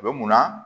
U bɛ munna